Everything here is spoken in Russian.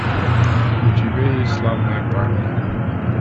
у тебя есть славные парни